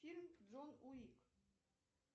фильм джон уик